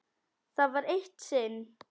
Það var eitt sinn.